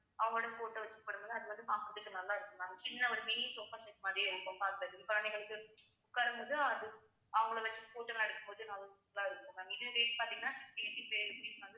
அவுங்களோட photo வெச்சு பண்ணும் போது அது வந்து பாக்குறதுக்கு நல்லா இருக்கும் ma'am சின்ன ஒரு mini sofa set மாதிரியே இருக்கும் குழந்தைங்களுக்கு உட்காரும் போது அது அவங்கள வச்சு photo லாம் எடுக்கும்போது நல்லா இருக்கும் ma'am இது பாத்தீங்கன்னா